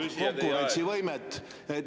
… et peate jälgima konkurentsivõimet.